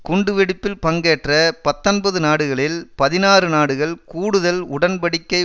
குண்டு வெடிப்பில் பங்கேற்ற பத்தொன்பது நாடுகளில் பதினாறு நாடுகள் கூடுதல் உடன் படிக்கை